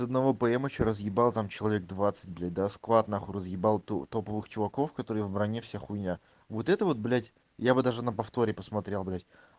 их одного пм ещё разъебал там человек двадцать блять да сквад нахуй разъебал то топовых чуваков которые в броне вся хуйня вот это вот блять я бы даже на повторе посмотрел блять